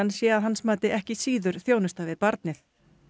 sé að hans mati ekki síður þjónusta við barnið